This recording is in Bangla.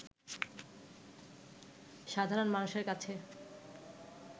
সাধারণ মানুষের কাছে